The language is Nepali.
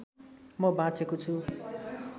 म बाँचेको छु